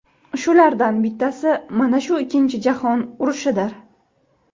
Shulardan bittasi mana shu Ikkinchi jahon urushidir.